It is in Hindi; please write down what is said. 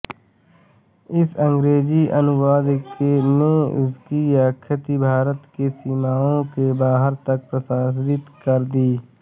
इस अंग्रेजी अनुवाद ने उनकी ख्याति भारत की सीमाओं के बाहर तक प्रसारित कर दी